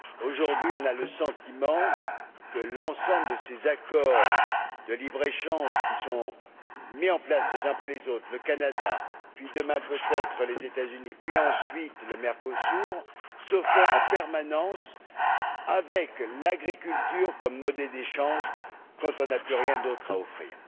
Aujourd'hui, on a le sentiment que l'ensemble de ces accords de libre échange qui sont mis en place les uns après les autres le Canada, puis demain peut être les États Unis, et ensuite le Mercosur se font en permanence avec l'agriculture comme monnaie d'échange quand on n'a plus rien d'autre à offrir.